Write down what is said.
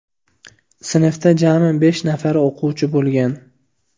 Sinfda jami besh nafar o‘quvchi bo‘lgan.